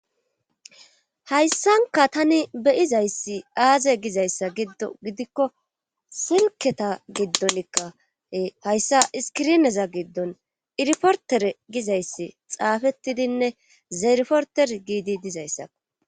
hayssanka tani beyizayssi aaze gizayssa giddo gidikko silketa giddonikka hayssa iskirineza giddon iriportere gizayssi xaafettidinne zaerporter giidi dizayssakko